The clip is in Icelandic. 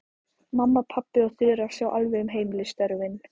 Mamma, pabbi og Þura sjá alveg um heimilisstörfin.